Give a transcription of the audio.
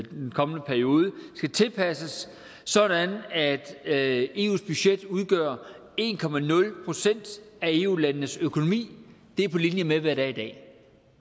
den kommende periode skal tilpasses sådan at at eus budget udgør en procent af eu landenes økonomi det er på linje med hvad det er i dag